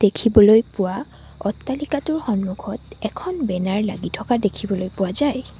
দেখিবলৈ পোৱা অট্টালিকাটোৰ সন্মুখত এখন বেনাৰ লাগি থকা দেখিবলৈ পোৱা যায়।